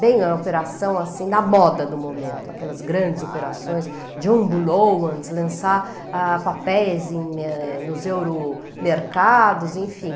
Bem a operação assim da moda no momento, aquelas grandes operações, jumbloans, lançar ah papéis em nos euromercados, enfim.